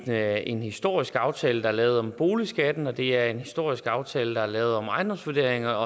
det er en historisk aftale der er lavet om boligskatten og det er en historisk aftale der er lavet om ejendomsvurderinger